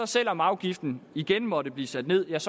selv om afgiften igen måtte blive sat nederst